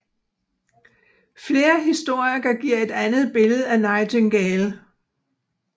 Flere historikere giver et andet billede af Nightingale